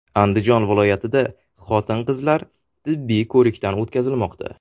Andijon viloyatida xotin-qizlar tibbiy ko‘rikdan o‘tkazilmoqda.